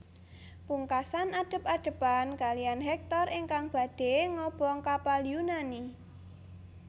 Pungkasan adep adepan kalihan Hektor ingkang badhé ngobong kapal Yunani